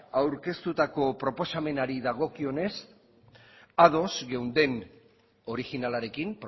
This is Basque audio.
aurkeztutako proposamenari dagokionez ados geunden originalarekin